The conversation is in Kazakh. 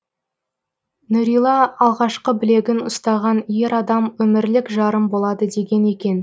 нүрила алғашқы білегін ұстаған ер адам өмірлік жарым болады деген екен